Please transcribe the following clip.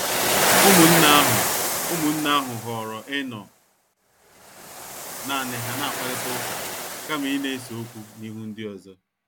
Ụmụnne ahụ Ụmụnne ahụ họọrọ ịnọ naani ha na-akparita ụka kama ịna-ese okwu n'ihu ndi ọzọ.